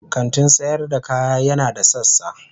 kantin sayar da kaya yana da sassa.